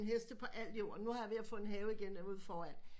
Heste på alt jord nu er jeg ved at få en have igen ude foran